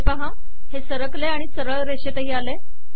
हे पहा हे सरकले आणि सरळ रेषेतही आले